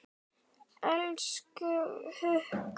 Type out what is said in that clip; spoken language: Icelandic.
Elsku Haukur!